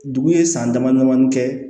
Dugu ye san dama damanin kɛ